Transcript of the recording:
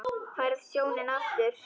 Færð sjónina aftur.